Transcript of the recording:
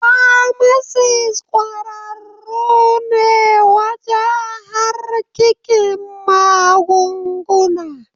Famasis ƙwararru ne wajen harkikin magunguna.